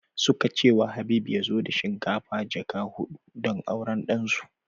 Suka ce wa Habib ya zo da shinkafa jaka hudu don auran ɗan su